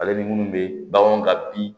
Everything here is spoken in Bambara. Ale ni munnu bɛ bagan ka bin